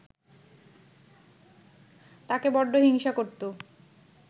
তাকে বড্ড হিংসা করত